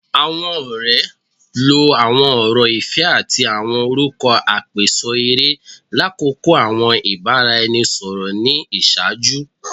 Awọn ọrẹ lo awọn ọrọ ifẹ ati awọn orukọ apeso ere lakoko awọn ibaraẹnisọrọ ni iṣaaju